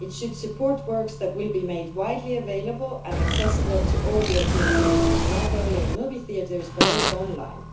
It should support works that will be made widely available and accessible to all European citizens, not only in movie theatres but also online.